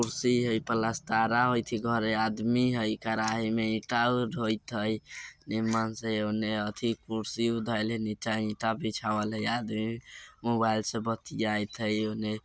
कुर्सी हय प्लास्ट्रा होय छै घरे आदमी हय कराही में ईटा ढोइत हय से उने अथि कुर्सी उ धायल हय नीचा ईटा बिछावाल हय आदमी मोबाइल से बतियात हय उने।